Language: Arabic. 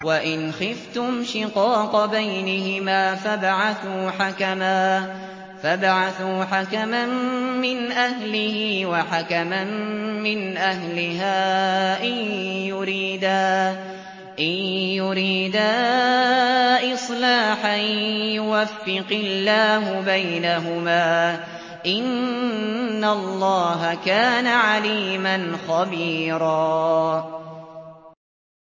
وَإِنْ خِفْتُمْ شِقَاقَ بَيْنِهِمَا فَابْعَثُوا حَكَمًا مِّنْ أَهْلِهِ وَحَكَمًا مِّنْ أَهْلِهَا إِن يُرِيدَا إِصْلَاحًا يُوَفِّقِ اللَّهُ بَيْنَهُمَا ۗ إِنَّ اللَّهَ كَانَ عَلِيمًا خَبِيرًا